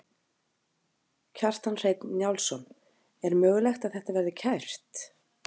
Kjartan Hreinn Njálsson: Er mögulegt að þetta verði kært?